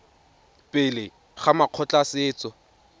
pele ga makgotla a setso